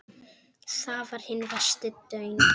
Þar var hinn versti daunn.